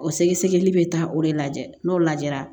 O sɛgɛsɛgɛli bɛ taa o de lajɛ n'o lajɛra